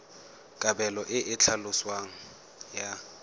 kabelo e e tlhaloswang ya